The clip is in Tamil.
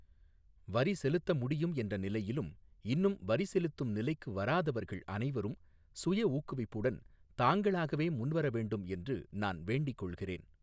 வரி செலுத்த முடியும் என்ற நிலையிலும், இன்னும் வரிசெலுத்தும் நிலைக்கு வராதவர்கள் அனைவரும் சுயஊக்குவிப்புடன் தாங்களாகவே முன்வர வேண்டும் என்று நான் வேண்டிக் கொள்கிறேன்.